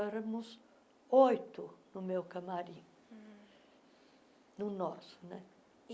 Éramos oito no meu camarim, no nosso né.